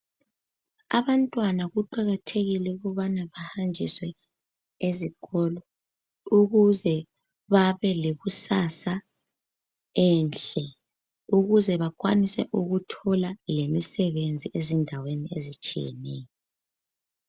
Abantwana kuqakathekile ukubana behanjiswe uzikolo ukuze babe lekusasa enhle ukuze bakwanise ukuthola lemisebenzi ezindaweni ezitshiyeneyo